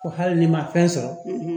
Ko hali ni ma fɛn sɔrɔ